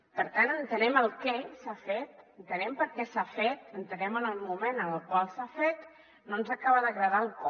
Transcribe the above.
per tant entenem què s’ha fet entenem per què s’ha fet entenem el moment en el qual s’ha fet no ens acaba d’agradar el com